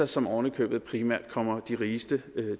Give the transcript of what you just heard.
som ovenikøbet primært kommer de rigeste